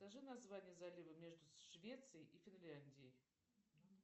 скажи название залива между швецией и финляндией